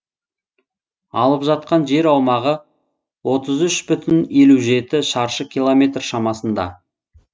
алып жатқан жер аумағы отыз үш бүтін елу жеті шаршы километр шамасында